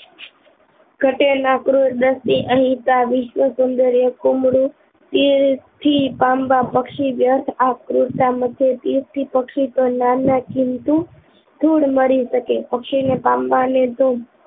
ગટે નકરું દસ દિન અહી વિશ્વ સુન્દરીય કુમળું દિલ થી પામવા પક્ષી વ્યર્થ આકૃતતા મુજબ નાના કિન્તુ ધૂળ મળી સકે પક્ષી ને પામવા ને તો